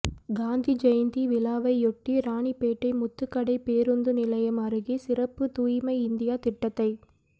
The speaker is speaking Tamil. காந்தி ஜயந்தி விழாவையொட்டி ராணிப்பேட்டை முத்துகடை பேருந்து நிலையம் அருகே சிறப்புத் தூய்மை இந்தியா திட்டத்தை